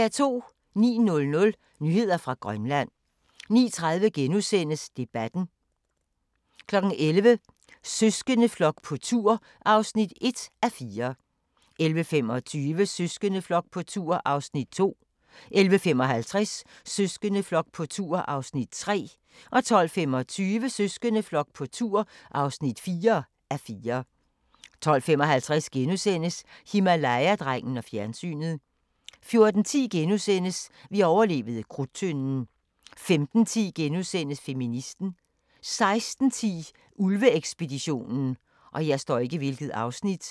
09:00: Nyheder fra Grønland 09:30: Debatten * 11:00: Søskendeflok på tur (1:4) 11:25: Søskendeflok på tur (2:4) 11:55: Søskendeflok på tur (3:4) 12:25: Søskendeflok på tur (4:4) 12:55: Himalaya-drengen og fjernsynet * 14:10: Vi overlevede Krudttønden * 15:10: Feministen * 16:10: Ulve-ekspeditionen